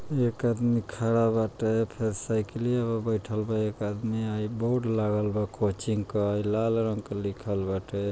एक आदमी खड़ा बाटे फेर साइकिलया पे बइठल बा एक आदमी आ ई बोर्ड लागल बा कोचिंग क। ई लाल रंग के लिखल बाटे।